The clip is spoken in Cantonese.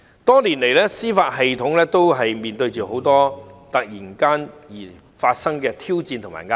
多年來，司法體系一直面對很多突如其來的挑戰和壓力。